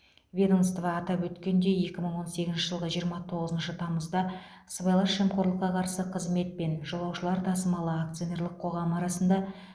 ведомство атап өткендей екі мың он сегізінші жылғы жиырма тоғызыншы тамызда сыбайлас жемқорлыққа қарсы қызмет пен жолаушылар тасымалы акционерлік қоғамы арасында